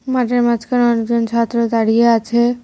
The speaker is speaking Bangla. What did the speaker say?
মাঠের মাঝখানে অনেকজন ছাত্র দাঁড়িয়ে আছে।